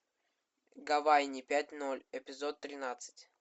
гавайи пять ноль эпизод тринадцать